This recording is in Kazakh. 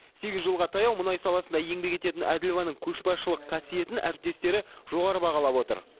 сегіз жылға таяу мұнай саласында еңбек ететін әділованың көшбасшылық қасиетін әріптестері жоғары бағалап отыр